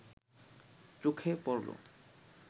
চোখে পড়লো